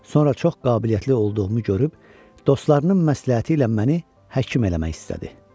Sonra çox qabiliyyətli olduğumu görüb dostlarının məsləhəti ilə məni həkim eləmək istədi.